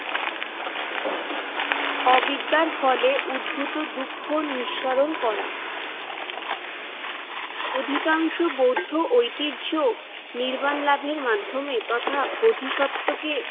অবিদ্যার ফলে উদ্ভূত দুঃখ নিঃসরণ করা। অধিকাংশ বৌদ্ধ ঐতিহ্য নির্মাণ লাভের মাধ্যমে তথা বোধিসত্ত্বকে